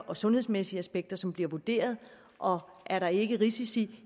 og sundhedsmæssige aspekter som bliver vurderet og er der ikke risici